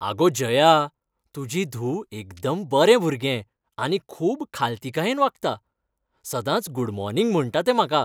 आगो जया, तुजी धूव एकदम बरें भुरगें आनी खूब खालतीकायेन वागता. सदांच गूड मॉर्निग म्हणटा तें म्हाका.